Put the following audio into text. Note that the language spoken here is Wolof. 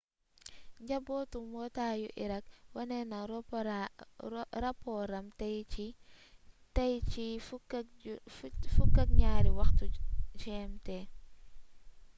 njàngatu mbootaayu irak wone na rapooram tay ci ci 12:00 gmt